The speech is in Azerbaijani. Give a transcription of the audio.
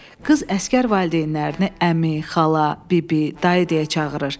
Qız əsgər valideynlərini əmi, xala, bibi, dayı deyə çağırır.